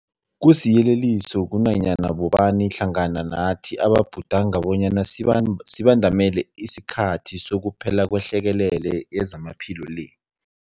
Kusiyeleliso kunanyana bobani hlangana nathi ababhudanga bonyana sibandamele isikhathi sokuphela kwehlekelele yezamaphilo le.